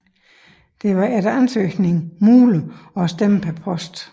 Det var efter ansøgning muligt at stemme per post